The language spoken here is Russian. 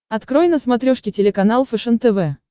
открой на смотрешке телеканал фэшен тв